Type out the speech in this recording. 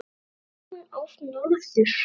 En fer hún oft norður?